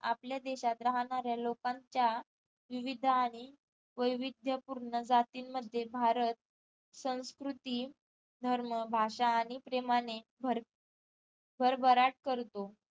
आपल्या देशात राहणाऱ्या लोकांच्या विविध आणि वैविध्य पूर्ण जातींमध्ये भारत संस्कृती धर्म, भाषा, आणि प्रेमाने भर भरभराट करतो